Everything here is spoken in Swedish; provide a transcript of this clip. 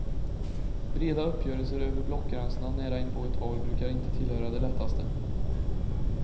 Breda uppgörelser över blockgränserna nära inpå ett val brukar inte tillhöra det lättaste.